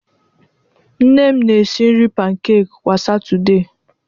Nne m na-esi nri pankek kwa Satọde.